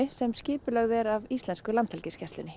sem skipulögð er af íslensku Landhelgisgæslunni